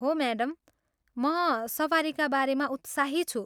हो म्याडम, म सवारीका बारेमा उत्साही छु।